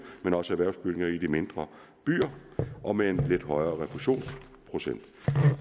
men også erhvervsbygninger i de mindre byer og med en lidt højere refusionsprocent